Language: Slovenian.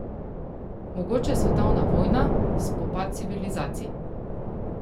Mogoče svetovna vojna, spopad civilizacij.